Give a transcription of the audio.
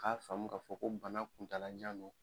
K'a faamu k’a fɔ ko bana kuntalajan don.